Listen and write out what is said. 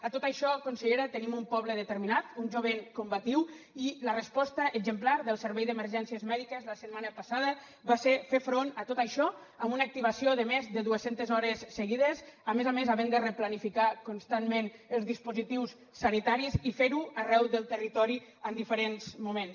a tot això consellera tenim un poble determinat un jovent combatiu i la resposta exemplar del servei d’emergències mèdiques la setmana passada va ser fer front a tot això amb una activació de més de dues centes hores seguides a més a més havent de replanificar constantment els dispositius sanitaris i fer ho arreu del territori en diferents moments